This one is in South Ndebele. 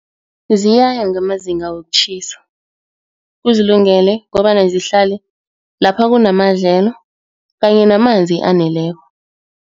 Ziyaya ngamazinga wokutjhisa, kuzilungele kobana zihlale lapha kunamadlelo kanye namanzi aneleko.